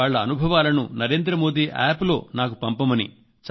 వాళ్ల అనుభవాలను నరేంద్ర మోదీ యాప్ లో నాకు పంపమని